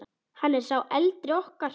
Hann er sá eldri okkar.